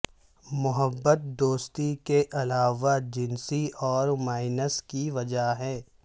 محبت دوستی کے علاوہ جنسی اور مائنس کی وجہ ہے